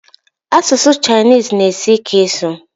Asụsụ Chinese na asi ike ịsụ